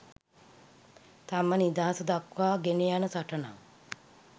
තම නිදහස දක්වා ගෙනයන සටනක්.